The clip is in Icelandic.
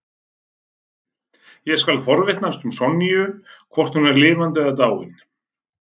Ég skal forvitnast um Sonju, hvort hún er lifandi eða dáin.